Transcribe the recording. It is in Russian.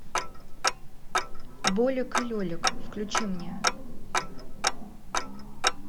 болик и лелик включи мне